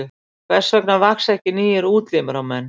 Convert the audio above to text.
Hvers vegna vaxa ekki nýir útlimir á menn?